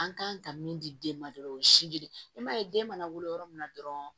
An kan ka min di den ma dɔrɔn o ye si jiri ye i m'a ye den mana wolo yɔrɔ min na dɔrɔn